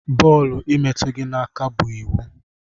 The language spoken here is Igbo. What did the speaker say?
Bọọlụ imetu gi na aka bu iwu.